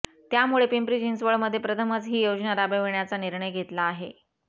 त्यामुळे पिंपरी चिंचवडमध्ये प्रथमच ही योजना राबविण्याचा निर्णय घेतला आहे